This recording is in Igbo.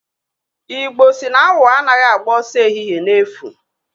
Igbo si na awọ anaghị agba ọsọ ehihe n'efu.